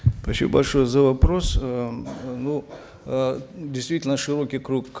спасибо большое за вопрос э ну э действительно широкий круг